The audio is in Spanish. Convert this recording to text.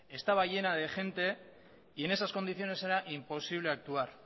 estaba llena de gente y en esas condiciones era imposible actuar